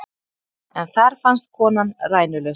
En þar fannst konan rænulaus